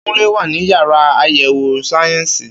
Kúnlé wà ní yàrá àyẹ̀wò sáyẹ́ǹsì